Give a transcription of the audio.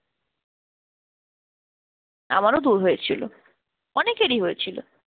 আমারও দূর হয়েছিল, অনেকেরই হয়েছিল।